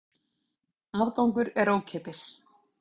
Aðgangur er ókeypis.